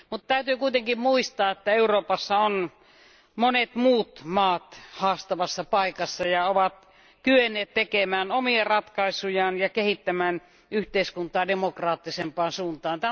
Täytyy kuitenkin muistaa, että Euroopassa on ollut monia muitakin valtioita haastavassa paikassa ja ne ovat kyenneet tekemään omia ratkaisujaan ja kehittämään yhteiskuntaa demokraattisempaan suuntaan.